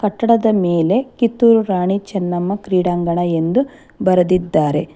ಕಟ್ಟಡದ ಮೇಲೆ ಕಿತ್ತುರು ರಾಣಿ ಚೆನ್ನಮ್ಮ ಕ್ರೀಡಾಂಗಣ ಎಂದು ಬರದಿದ್ದಾರೆ.